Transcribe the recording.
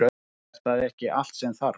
Er það ekki allt sem þarf?